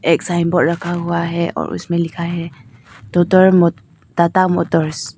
एक साइनबोर्ड रखा हुआ है और उसमें लिखा है तोतर मो टाटा मोटर्स ।